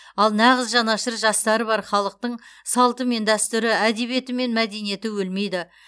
ал нағыз жанашыр жастары бар халықтың салты мен дәстүрі әдебиеті мен мәдениеті өлмейді